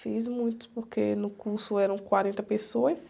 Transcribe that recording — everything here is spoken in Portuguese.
Fiz muitos, porque no curso eram quarenta pessoas.